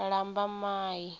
lambamai